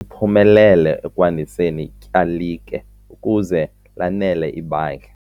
uphumelele ekwandiseni ityalike ukuze lanele ibandla.